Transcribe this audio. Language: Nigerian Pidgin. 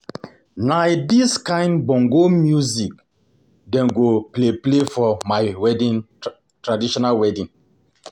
Na dis kain bongo music dem go play play for my traditional wedding.